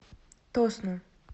тосно